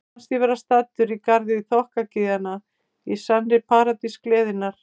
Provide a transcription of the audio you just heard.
Mér fannst ég vera staddur í garði þokkagyðjanna, í sannri paradís gleðinnar.